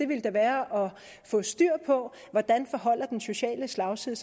ville da være at få styr på hvordan den sociale slagside